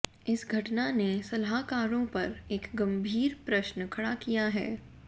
इस घटना ने सलाहकारों पर एक गंभीर प्रश्न खड़ा किया है